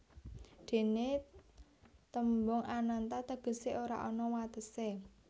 Déné tembung Ananta tegesé ora ana watesé